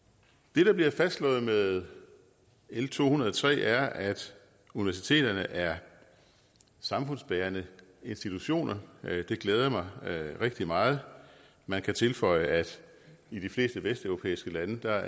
det der bliver fastslået med l to hundrede og tre er at universiteterne er samfundsbærende institutioner og det glæder mig rigtig meget man kan tilføje at i de fleste vesteuropæiske lande er